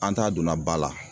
An t'a donna ba la.